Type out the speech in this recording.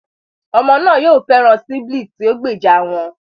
Ọmọ náà yóò fẹ́ràn sibiling tí ó gbèjà wọn